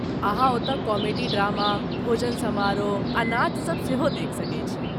अहाँ ओतय comedy drama, भोजन समारोह आ नाचसब सेहो देखि सकैत छी।